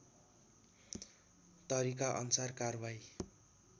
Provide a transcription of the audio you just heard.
तरिका अनुसार कारबाही